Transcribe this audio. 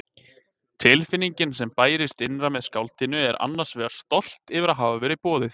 Tilfinningin sem bærist innra með skáldinu er annars vegar stolt yfir að hafa verið boðið.